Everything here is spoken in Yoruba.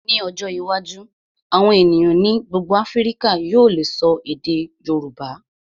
Ní ọjọ́ iwájú, àwọn ènìyàn ní gbogbo Áfíríkà yóò lè ṣọ èdè Yorùbá.